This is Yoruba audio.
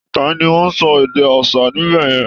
Ta ni ó ń sọ èdè aṣa níbẹ̀ yẹn?